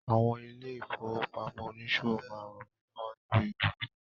Àwọn ilé-ìfowópamọ́ oníṣòwò máa rànmí lọ́wọ́ lórí òwò mi.